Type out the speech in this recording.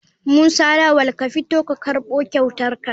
Musa lawal ka fito ka karbo kyautarka.